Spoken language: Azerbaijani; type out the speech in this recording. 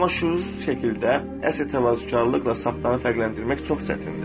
Amma şüursuz şəkildə əsl təvazökarlıqla saxtanı fərqləndirmək çox çətindir.